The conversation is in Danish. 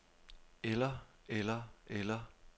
eller eller eller